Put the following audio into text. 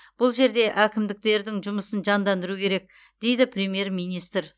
бұл жерде әкімдіктердің жұмысын жандандыру керек дейді премьер министр